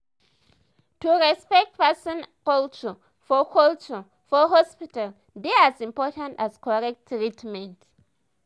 to respect person culture for culture for hospital dey as important as correct treatment.